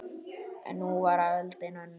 En nú var öldin önnur.